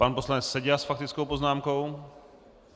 Pan poslanec Seďa s faktickou poznámkou.